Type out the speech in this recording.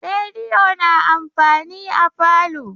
Rediyo na amfani a falo.